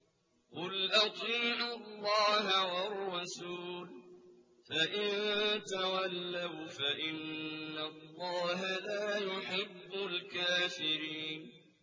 قُلْ أَطِيعُوا اللَّهَ وَالرَّسُولَ ۖ فَإِن تَوَلَّوْا فَإِنَّ اللَّهَ لَا يُحِبُّ الْكَافِرِينَ